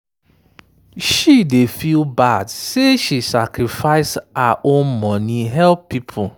she dey feel bad say she sacrifice her own money help people.